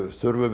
höfum við